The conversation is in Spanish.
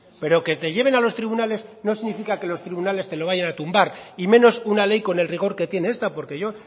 pero que te lleven a los tribunales no significa que los tribunales te lo vayan a tumbar y menos una ley con el rigor que tiene esta porque yo